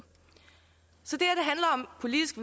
politisk